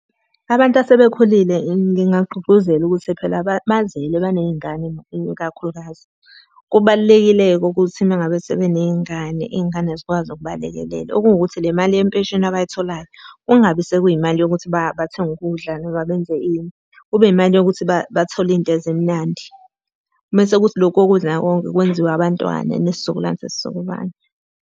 Abantu asebekhulile ngingagqugquzela ukuthi phela bazele baney'ngane ikakhulukazi. Kubalulekile-ke ukuthi uma ngabe sebeney'ngane, iy'ngane zikwazi ukubalekelela. Okungukuthi le mali yempesheni abayitholayo, kungabi sekuyimali yokuthi bathenga ukudla noma benze ini. Kube imali yokuthi bathole izinto ezimnandi. Mese kuthi lokhu kokudla konke kwenziwe abantwana nesizukulwane sesizukulwane.